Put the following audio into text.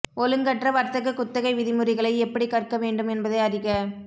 ஒழுங்கற்ற வர்த்தக குத்தகை விதிமுறைகளை எப்படி கற்க வேண்டும் என்பதை அறிக